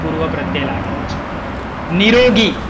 પૂર્વપ્રત્યય લાગેલો છે. નીરોગી.